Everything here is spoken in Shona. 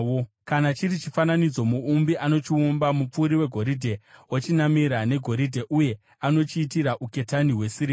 Kana chiri chifananidzo, muumbi anochiumba, mupfuri wegoridhe ochinamira negoridhe, uye anochiitira uketani hwesirivha.